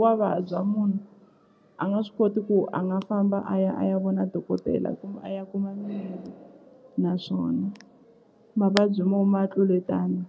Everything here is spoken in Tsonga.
wa vabya munhu a nga swi koti ku a nga famba a ya a ya vona dokodela a ya kuma mimirhi naswona mavabyi mo ma tluletana.